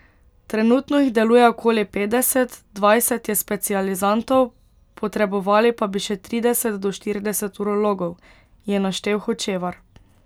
Trenutno jih deluje okoli petdeset, dvajset je specializantov, potrebovali pa bi še trideset do štirideset urologov, je naštel Hočevar.